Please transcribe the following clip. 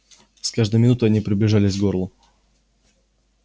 с каждой минутой они приближались к горлу